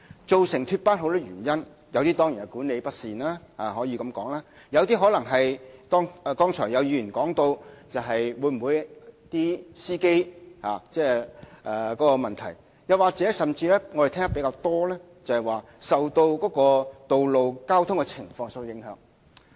脫班的問題基於眾多原因，當然可能包括管理不善，亦有可能是剛才有議員提到的是司機的問題，甚或是我們聽得較多，是由於道路交通情況所致。